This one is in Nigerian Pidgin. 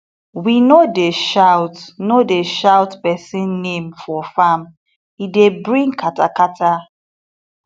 we no dey shout no dey shout person name for farm e dey bring katakata